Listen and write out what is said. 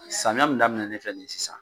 Samiya min daminɛnen filɛ nin ye sisan